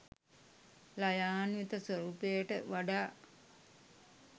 ළයාන්විත ස්වරූපයට වඩා